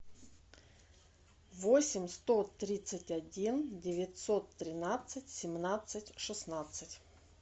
восемь сто тридцать один девятьсот тринадцать семнадцать шестнадцать